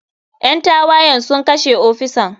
Ƴan tawayen sun kashe ofisan.